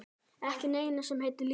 Ekki neinu sem heitir líf.